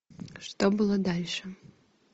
что было дальше